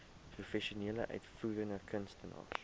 professionele uitvoerende kunstenaars